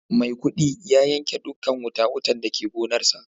Maikudi ya yanke dukan wuta-wutan da ke gonarsa.